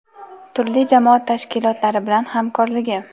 turli jamoat tashkilotlari bilan hamkorligi.